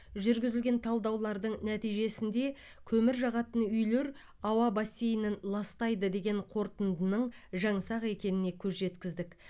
жүргізілген талдаулардың нәтижесінде көмір жағатын үйлер ауа бассейнін ластайды деген қорытындының жаңсақ екеніне көз жеткіздік